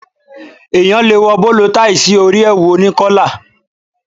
Èèyàn le wọ bóló taì sí orí èwù oní kọ́là.